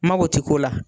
Mako ti k'o la